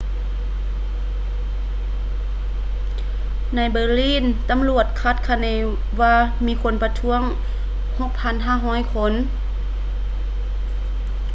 ໃນ berlin ຕຳຫຼວດຄາດຄະເນວ່າມີຄົນປະທ້ວງ 6,500 ຄົນ